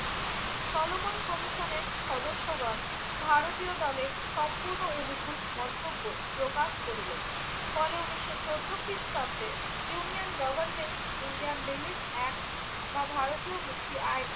চলমান কমিশনের সদস্যগণ ভারতীয় দলের সম্পূর্ণ অনুকূল মন্তব্য প্রকাশ করিলেন। ফলে উনিশশো চৌদ্দ খ্রিষ্টাব্দে union government Indian relief act বা ভারতীয় মুক্তি অ্যাক্ট